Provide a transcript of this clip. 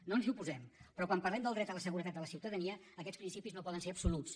no ens hi oposem però quan parlem del dret a la seguretat de la ciutadania aquests principis no poden ser absoluts